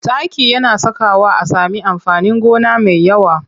Taki yana sakawa a sami amfanin gona mai yawa.